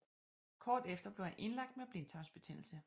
Kort efter blev han indlagt med blindtarmsbetændelse